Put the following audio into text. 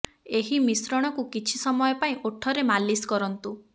ଏହି ମିଶ୍ରଣକୁ କିଛି ସମୟ ପାଇଁ ଓଠରେ ମାଲିସ କରନ୍ତୁ